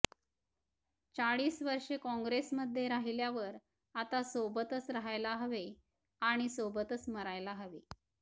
चाळीस वर्षे काँग्रेसमध्ये राहिल्यावर आता सोबतच राहायला हवे आणि सोबतच मरायला हवे